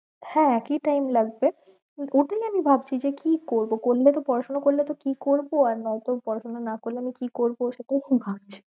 হ্যাঁ একই time লাগবে, ওইটাই আমি ভাবছি যে কি করবো করলে তো পড়াশোনা করলে তো কি করবো আর নয়তো পড়াশোনা না করলে আমি কি করবো সেটাই এখন ভাবছি।